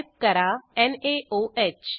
type करा नाओह